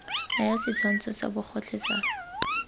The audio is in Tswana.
naya setshwantsho sa bogotlhe sa